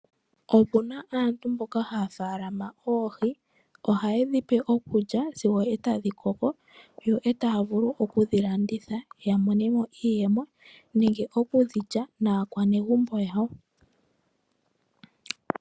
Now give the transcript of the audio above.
Opuna aantu mboka haya faalama oohi. Ohaye dhi pe okulya sigo etadhi koko yo etaya vulu oku dhi landitha yamone iiyemo nenge oku dhi lya mnakwanegumbo yawo.